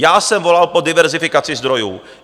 Já jsem volal po diverzifikaci zdrojů.